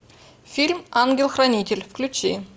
фильм ангел хранитель включи